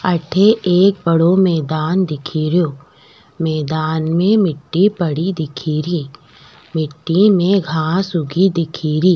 अठे एक बड़ो मैदान दिखेरयो मैदान में मिटटी पड़ी दिखेरी मिटटी में घांस उगी दिखेरी।